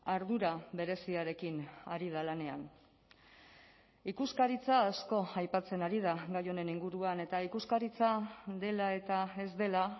ardura bereziarekin ari da lanean ikuskaritza asko aipatzen ari da gai honen inguruan eta ikuskaritza dela eta ez dela